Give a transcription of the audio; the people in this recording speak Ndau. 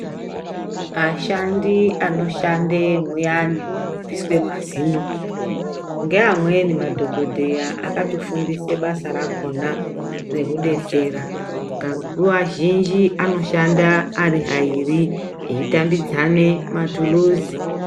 Ashandi anoshande mwuyani munobviswe mazino ngeamweni madhokodheya akatofundiswe basa rakona rekudetsera. Nguva zhinji anoshanda ari airi eitambidzane matuluzi.